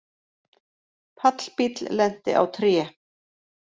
Pallbíll lenti á tré